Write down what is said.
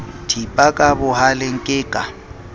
thipa ka bohaleng ke ka